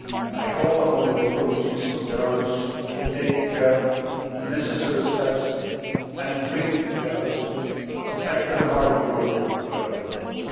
I call upon the authorities of Belarus to take the necessary steps to bring Belarus back to the heart of Europe where it belongs.